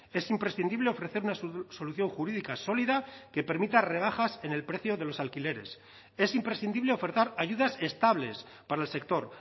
es imprescindible ofrecer una solución jurídica sólida que permita rebajas en el precio de los alquileres es imprescindible ofertar ayudas estables para el sector